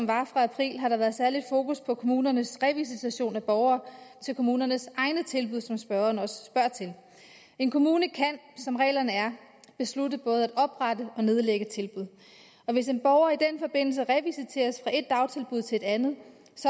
var i april har der været særligt fokus på kommunernes revisitation af borgere til kommunernes egne tilbud som spørgeren også spørger til en kommune kan som reglerne er beslutte både at oprette og nedlægge tilbud hvis en borger i den forbindelse revisiteres fra et dagtilbud til et andet